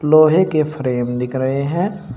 लोहे के फ्रेम दिख रहे हैं।